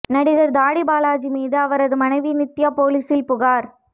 நடிகர் தாடி பாலாஜி மீது அவரது மனைவி நித்யா போலீசில் புகார்